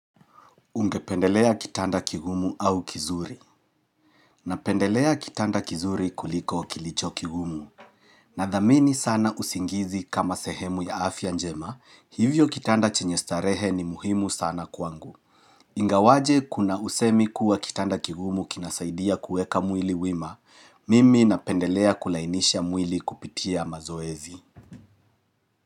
Ungependelea kitanda kigumu au kizuri? Napendelea kitanda kizuri kuliko kilicho kigumu Nadhamini sana usingizi kama sehemu ya afya njema, hivyo kitanda chenye starehe ni muhimu sana kwangu Ingawaje kuna usemi kuwa kitanda kigumu kinasaidia kuweka mwili wima, mimi napendelea kulainisha mwili kupitia mazoezi.